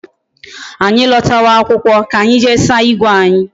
Anyi lotawa akwụkwọ ka anyị jee saa igwe anyi